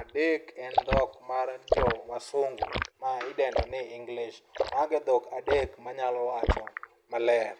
adek en dhok mar jo wasungu ma idendo ni English. Mago e dhok adek manyalo wacho maler.